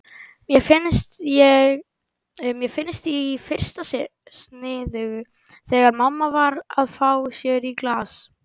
Mér fannst í fyrstu sniðugt þegar mamma var að fá sér í glas.